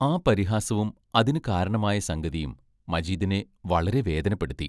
ആ പരിഹാസവും അതിനു കാരണമായ സംഗതിയും മജീദിനെ വളരെ വേദനപ്പെടുത്തി.